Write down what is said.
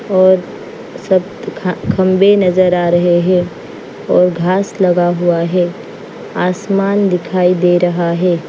और सब ख खंबे नजर आ रहे हैं और घास लगा हुआ है आसमान दिखाई दे रहा है।